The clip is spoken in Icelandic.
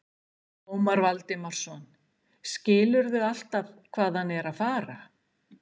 Ómar Valdimarsson: Skilurðu alltaf hvað hann er að fara?